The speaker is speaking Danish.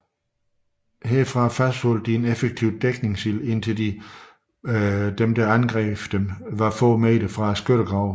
Herfra fastholdt de en effektiv dækningsild indtil de angribende tropper var få meter fra skyttegravene